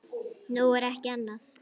Nú, ekki annað.